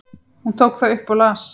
Hún tók það upp og las.